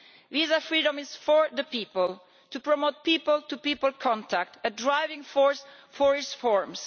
Visa freedom is for the people to promote people to people contact a driving force for reforms.